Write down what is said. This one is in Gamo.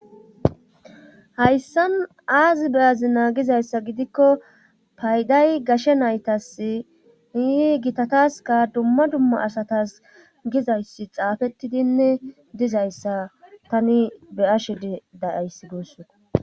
Haayssaaazi beyazi naagizayssa gidikko payday gashe naytas hiihi gitataska dumma dumma asatas gizayssi xaafettidinne dizayssa tani be ashed dayayssi guusso.